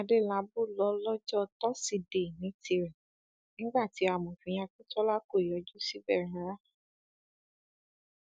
adélábù ló lọjọ tosidee ní tiẹ nígbà tí amòfin akíntola kò yọjú síbẹ rárá